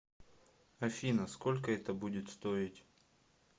афина сколько это будет стоить